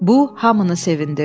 Bu hamını sevindirdi.